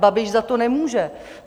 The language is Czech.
Babiš za to nemůže.